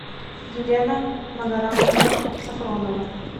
елена магарамовна сафронова